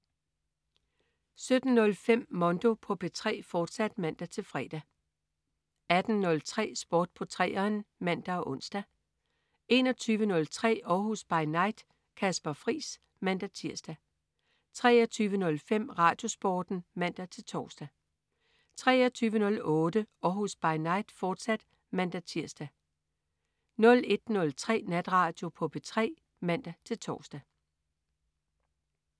17.05 Mondo på P3, fortsat (man-fre) 18.03 Sport på 3'eren (man og ons) 21.03 Århus By Night. Kasper Friis (man-tirs) 23.05 RadioSporten (man-tors) 23.08 Århus By Night, fortsat (man-tirs) 01.03 Natradio på P3 (man-tors)